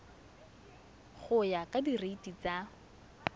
go ya ka direiti tsa